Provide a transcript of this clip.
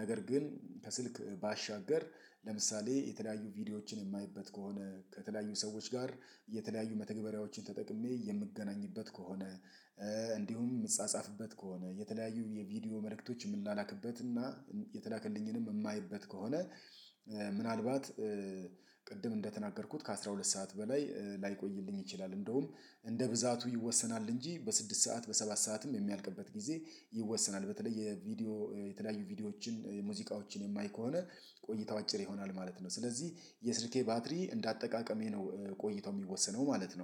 ነገር ግን ከስልክ ባሻገር ለምሳሌ የተለያዩ ቪዲዮዎችን የማይበት ከሆነ ከተለያዩ ሰዎች ጋር የተለያዩ መተግበሪያዎችን ተጠቅሜ የምገናኝበት ከሆነ እንዲሁም የምጻጻፍበት ከሆነ የተለያዩ የቪዲዮ መልእክቶች የምናላክበት እና የተላከልኝንም የማየበት ከሆነ ምናልባት ቅድም እንደተናገርኩት ከአሥራ ሁለት ሰዓት በላይ ላይቆይልኝ ይችላል እንደውም እንደ ብዛቱ ይወሰናል እንጂ በስድስት ሰዓት በሰባት ሰዓትም የሚያልቅበት ጊዜ ይወሰናል በተለይ የቪዲዮ የተለያዩ ቪዲዮዎችን የሙዚቃዎችን የማይ ከሆነ ቆይታው አጭር ይሆናል ማለት ነው። ስለዚህ የስልኬ ባትሪ እንደ አጠቃቀሜ ነው ቆይታው የሚወሰነው ማለት ነው።